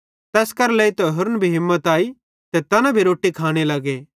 तैस करां लेइतां होरन भी हिम्मत आई ते तैना भी रोट्टी खाने लगे